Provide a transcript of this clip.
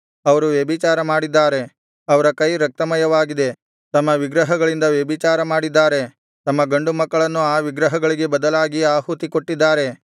ಅವರು ವ್ಯಭಿಚಾರ ಮಾಡಿದ್ದಾರೆ ಅವರ ಕೈ ರಕ್ತಮಯವಾಗಿದೆ ತಮ್ಮ ವಿಗ್ರಹಗಳಿಂದ ವ್ಯಭಿಚಾರಮಾಡಿದ್ದಾರೆ ತಮ್ಮ ಗಂಡು ಮಕ್ಕಳನ್ನು ಆ ವಿಗ್ರಹಗಳಿಗೆ ಬದಲಾಗಿ ಆಹುತಿಕೊಟ್ಟಿದ್ದಾರೆ